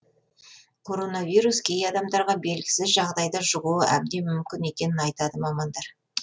коронавирус кей адамдарға белгісіз жағдайда жұғуы әбден мүмкін екенін айтады мамандар